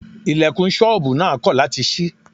Ilẹ̀kùn ṣọ́bùù náà kọ̀ láti ṣí.